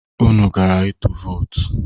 Unu gara ịtụ vootu?